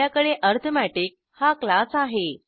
आपल्याकडे अरिथमेटिक हा क्लास आहे